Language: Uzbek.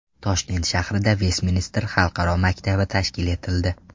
Toshkent shahrida Vestminster xalqaro maktabi tashkil etildi.